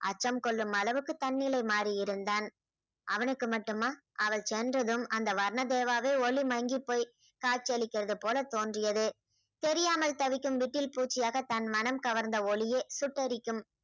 அச்சம் கொள்ளும் அளவுக்கு தன்னிலை மாறியிருந்தான் அவனுக்கு மட்டுமா அவள் சென்றதும் அந்த வர்ணதேவாவே ஒளி மங்கிப் போய் காட்சியளிக்கிறது போலத் தோன்றியது தெரியாமல் தவிக்கும் விட்டில் பூச்சியாக தன் மனம் கவர்ந்த ஒளியே சுட்டெரிக்கும்